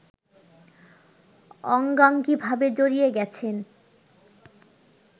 অঙ্গাঙ্গীভাবে জড়িয়ে গেছে